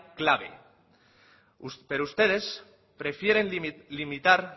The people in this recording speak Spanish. clave pero ustedes prefieren limitar